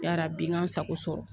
Yarabi n kan n sago sɔrɔ